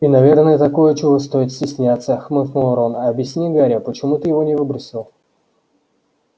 и наверное такое чего стоит стесняться хмыкнул рон объясни гарри почему ты его не выбросил